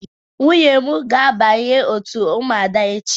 Nwunye ga-abanye n'òtù Ụmụada echi.